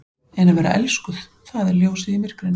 En að vera elskuð- það er ljósið í myrkrinu!